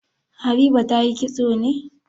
Habiba ta yi kitso ne?